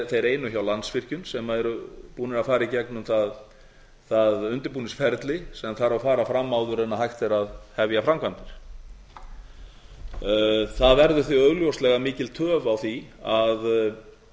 þeir einu hjá landsvirkjun sem eru búnir að fara í gegnum það undirbúningsferli sem þarf að fara fram áður en hægt er að hefja framkvæmdir það verður því augljóslega mikil töf á því að